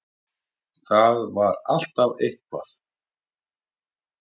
Það var alltaf eitthvað.